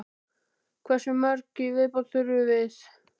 Hversu mörg í viðbót þurfum við?